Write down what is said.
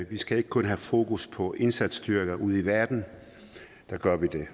vi skal ikke kun have fokus på indsatsstyrker ude i verden der gør vi det